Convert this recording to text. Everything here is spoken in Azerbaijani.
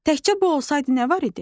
Təkcə bu olsaydı nə var idi?